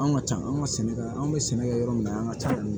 Anw ka ca an ka sɛnɛgali anw be sɛnɛ kɛ yɔrɔ min na an ŋa ca